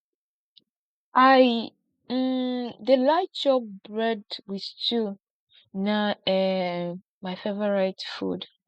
i um dey like chop bread wit stew na um my favourite food